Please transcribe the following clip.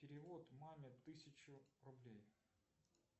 перевод маме тысячу рублей